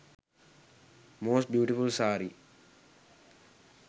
most beautiful saree